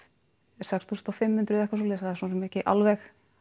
sex þúsund og fimm hundruð eitthvað svoleiðis það eru svo sem ekki alveg